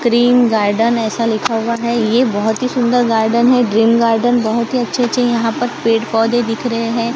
Green garden ऐसा लिखा हुआ है ये बहोत ही सुंदर गार्डन है ग्रीन गार्डन बहोत ही अच्छे अच्छे यहां पर पेड़ पौधे दिख रहे हैं।